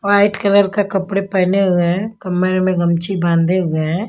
White colour का कपड़े पहने हुए हैं कमर में गमची बांधे हुए है।